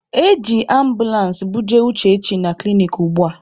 E ji ambụlansị buje Uchechi na klinik ugbua.